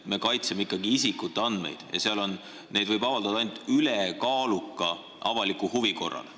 Me kaitseme ikkagi isikute andmeid ja neid võib avaldada ainult ülekaaluka avaliku huvi korral.